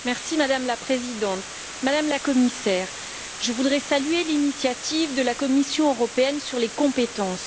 Madame la Présidente, Madame la Commissaire, je voudrais saluer l'initiative de la Commission sur les compétences.